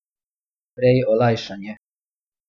Prej olajšanje.